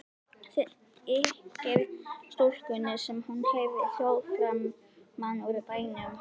Þykir stúlkunni sem hún heyri hljóð framan úr bænum.